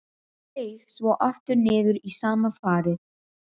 Seig svo aftur niður í sama farið.